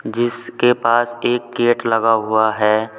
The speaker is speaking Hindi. जिसके पास एक गेट लगा हुआ है।